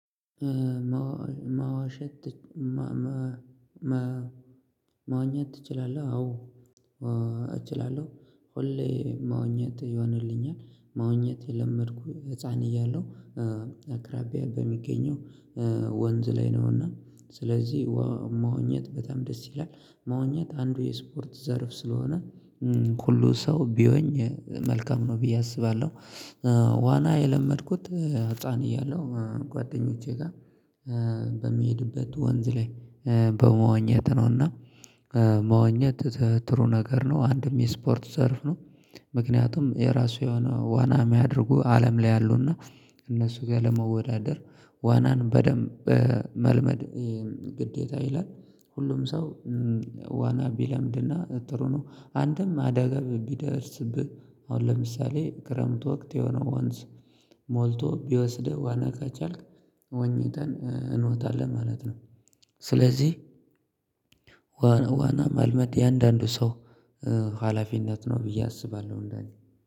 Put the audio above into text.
"መዋሸት ትች መ መ መ መዋኘት ትችላለህ?" አዎ እችላለሁ፤ ሁሌ መዎኘት ይሆንልኛል። መዋኘት የለመድኩኝ ህፃን እያለው አቅራቢያ በሚገኘው ወንዝ ላይ ነውና ስለዚህ መዋኘት በጣም ደስ ይላል መዋኘት አንዱ የስፖርት ዘርፍ ስለሆነ ሁሉ ሰው ቢዋኝ መልካም ነው ብዬ አስባለሁ። ዋና የለመድኩት ህፃን እያለሁ ጓደኞቼ ጋር በምሄድበት ወንዝ ላይ በመዋኘት ነው እና መዋኘት ጥሩ ነገር ነው፤ አንድም የስፖርት ዘርፍ ነው። ምክንያቱም የራሱ የሆነ ዋና የሚያደርጉ አለም ላይ አሉና እነሱ ጋር ለመወዳደር ዋናን በደንብ መልመድ ግዴታ ይላል። ሁሉም ሰው ዋና ቢለምድና ጥሩ ነው። አንድም አደጋም ቢደርስብህ አሁን ለምሳሌ ክረምት ወቅት የሆነ ወንዝ ሞልቶ ቢወስድህ ዋና ከቻልክ ዋኝተን እንወጣለን ማለት ነው። ስለዚህ ዋና ዋና መልመድ የእያንዳንዱ ሰው ሀላፊነት ነው ብዬ አስባለሁ እንደኔ።